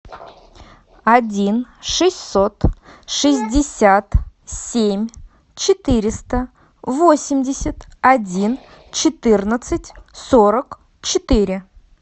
один шестьсот шестьдесят семь четыреста восемьдесят один четырнадцать сорок четыре